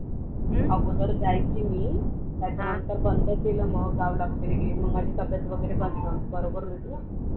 अगोदर जायची मी त्याच्या नंतर बंद केले मग गावला वैगेरे गेली मी माझी तब्येत वैगेरे बरोबर नव्हती